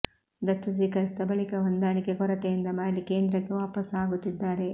ದತ್ತು ಸ್ವೀಕರಿಸಿದ ಬಳಿಕ ಹೊಂದಾಣಿಕೆ ಕೊರತೆಯಿಂದ ಮರಳಿ ಕೇಂದ್ರಕ್ಕೆ ವಾಪಸ್ ಆಗುತ್ತಿದ್ದಾರೆ